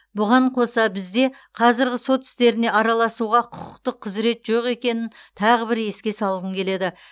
бұған қоса бізде қазіргі сот істеріне араласауға құқықтық құзірет жоқ екенін тағы бір еске салғым келеді